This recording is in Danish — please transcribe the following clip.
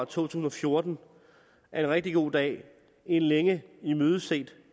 tusind og fjorten er en rigtig god dag en længe imødeset